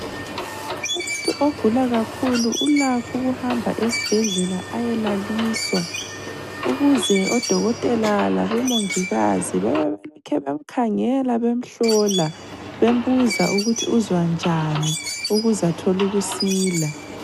Umuntu ogula kakhulu ulakho ukuhamba esibhedlela ayelaliswa, ukuze odokotela labo mongikazi bebelokhe bemkhangela, bemhlola, bembuza ukuthi uzwa njani ukuze athole ukusila.